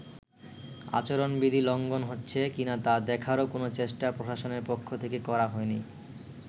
আচরণবিধি লঙ্ঘন হচ্ছে কিনা তা দেখারও কোনো চেষ্টা প্রশাসনের পক্ষ থেকে করা হয়নি।